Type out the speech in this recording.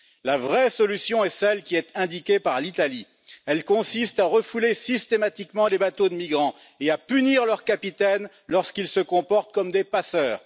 La vraie solution est celle qui est indiquée par l'Italie, elle consiste à refouler systématiquement les bateaux de migrants et à punir leurs capitaines lorsqu'ils se comportent comme des passeurs.